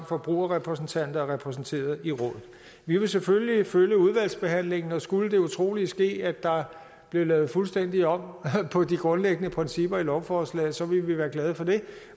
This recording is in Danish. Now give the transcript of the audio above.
forbrugerrepræsentanter er repræsenteret i rådet vi vil selvfølgelig følge udvalgsbehandlingen og skulle det utrolige ske at der bliver lavet fuldstændig om på de grundlæggende principper i lovforslaget så vil vi være glade for det